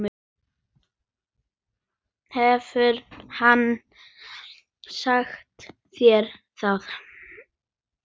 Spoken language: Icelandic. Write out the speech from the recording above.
Hefur hann sagt þér það?